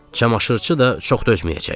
Çamaşırçı da çox dözməyəcək.